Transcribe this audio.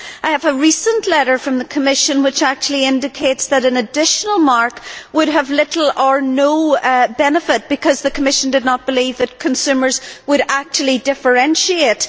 I have a recent letter from the Commission which actually indicates that an additional mark would have little or no benefit because the Commission did not believe that consumers would actually differentiate.